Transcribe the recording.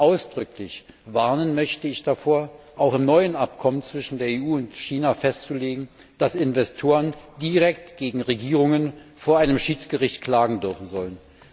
Ausdrücklich warnen möchte ich davor, auch im neuen Abkommen zwischen der EU und China festzulegen, dass Investoren direkt gegen Regierungen vor einem Schiedsgericht klagen dürfen sollen.